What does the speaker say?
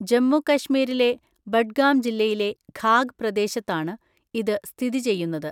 ജമ്മു കശ്മീരിലെ ബഡ്ഗാം ജില്ലയിലെ ഖാഗ് പ്രദേശത്താണ് ഇത് സ്ഥിതി ചെയ്യുന്നത്.